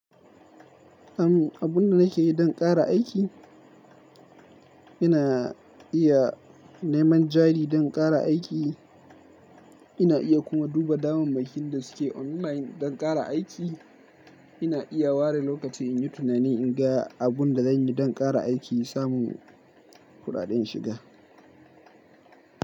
Am, abunda nake yi don ƙara aiki, ina iya neman jari don ƙara aiki, ina iya kuma duba damammakin da suke online don ƙara aiki, ina iya ware lokaci in yi tunani, in ga abun da zanyi don ƙara aiki, samu kuɗaɗen shiga.